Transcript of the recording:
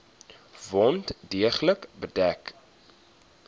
wond deeglik bedek